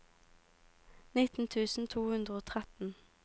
nittien tusen to hundre og tretten